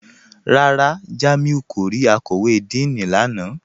Rárá, Jàmíù kò rí àkọ̀wé Díìní lánà